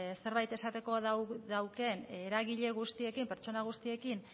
zerbait esateko daukan eragile guztiekin pertsona guztiekin